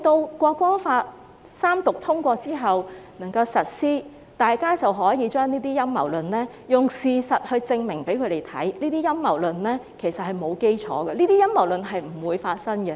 當《條例草案》三讀通過並實施後，大家便可以用事實來證明，這些陰謀論並沒有基礎，亦不會發生。